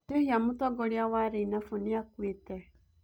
Njĩhia mũtongoria wa reinafu nĩakuitĩ